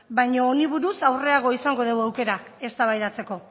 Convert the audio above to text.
baina honi buruz aurrerago izango dugu aukera eztabaidatzeko